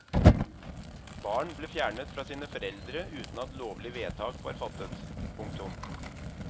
Barn ble fjernet fra sine foreldre uten at lovlig vedtak var fattet. punktum